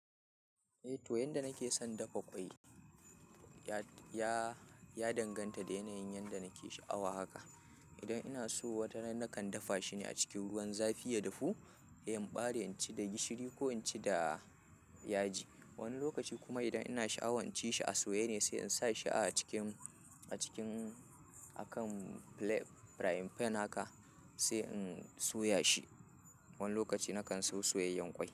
Eh to yanda nake son dafa ƙwai ya danganta da yanayin yanda nake sha'awa haka. Idan ina so wataran na kan dafa shi ne a cikin ruwan zafi ya dafu, sai in ɓare in ci da gishiri ko in ci da yaji. Wani lokaci kuma idan ina sha'awan in ci shi a soye ne sai in sa shi a cikin, a cikin, a kan frying pan haka sai in soya shi. Wani lokaci na kan so soyayyen ƙwai.